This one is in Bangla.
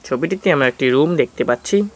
ছবিটিতে আমরা একটি রুম দেখতে পাচ্ছি।